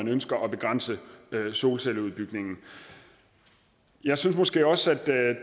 ønsker at begrænse solcelleudbygningen jeg synes måske også at